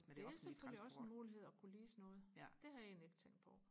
det er selvfølgelig også en mulighed og kunne lease noget det havde jeg egentlig ikke tænkt på